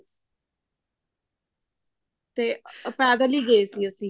ਤੇ ਪੈਦਲ ਹੀ ਗਏ ਸੀ ਅਸੀਂ